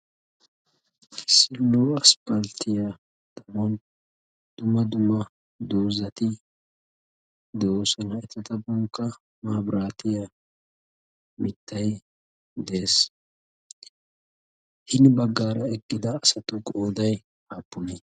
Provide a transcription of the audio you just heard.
issi nuruwa asphalttiya xaphon dumma dumma dozzati de'oosona. etappekka mabraatiya mitay de'ees. hini bagan eqqida asatu qooday aappunee?